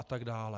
A tak dále.